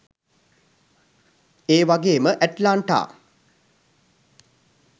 ඒවගේම ඇට්ලාන්ටා